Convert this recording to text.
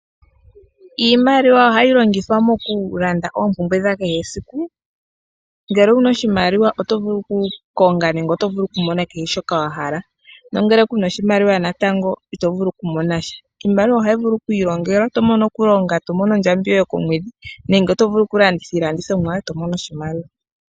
Iimaliwa ohayi longithwa mokulanda oopumbwe dhakehe siku, ngele owuna oshimaliwa otovulu kukonga nenge otovulu kumona kehe shoka wahala nongele kuna oshimaliwa natango itovulu kumona sha. Iimaliwa ohayi vulu kwiilongelwa, tomono kulonga etomono ondjambi yoye yokomwedhi nenge otovulu kulanditha iilandithomwa yoye tomono oshimaliwa.